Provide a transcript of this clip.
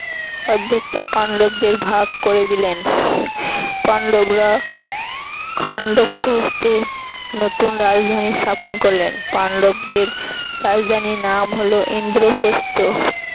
অর্ধেকটা পান্ডবদের ভাগ করে দিলেন পান্ডবরা খান্ডবপ্রস্থে নতুন রাজধানী স্থাপন করলেন পান্ডবদের রাজধানীর নাম হল ইন্দ্রপ্রস্থ